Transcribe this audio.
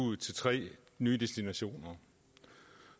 ud til tre nye destinationer